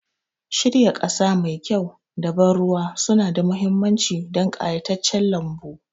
Shirya ƙasa mai kyau da ban ruwa suna da mahimmanci don ƙayataccen lambu